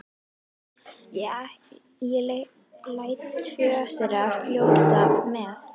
Ég læt tvö þeirra fljóta með.